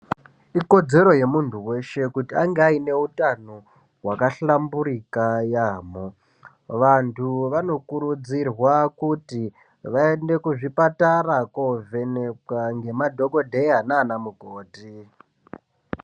Ikodzero yemuntu weshe kuti ange aine utano wakahlamburika yaamho vantu vanokurudzirwa kuti vaende kuzvipatara kovhenekwa ngemadhokodheya nanamukoti.